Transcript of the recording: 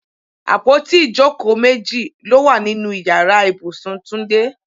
Àpótí ìjókòó méjì ló wà nínú Ìyàrá ibùsùn Túndé.